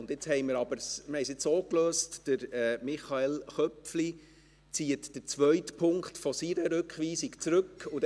Wir haben es jetzt so gelöst, dass Michael Köpfli den zweiten Punkt seiner Rückweisung zurückzieht.